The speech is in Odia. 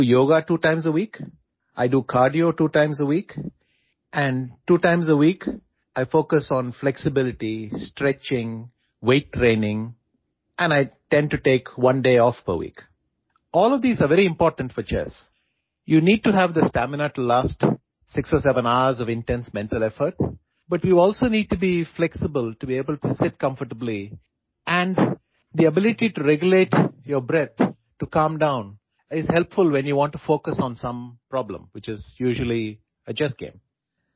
I do yoga two times a week I do cardio two times a week and two times a week I focus on flexibility stretching weight training and I tend to take one day off per week all of these are very important for chess you need to have the stamina to last 6 or 7 hours of intense mental effort but you also need to be flexible to able to seat comfortably and the ability to regulate your breath to calm down is helpful when you want to focus on some problem which is usually a chess game